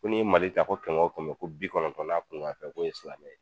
Ko n'i ye Mali ta ko kɛmɛ o kɛmɛ ko bi kɔnɔntɔn n'a kuŋan fɛn k'o ye silamɛ ye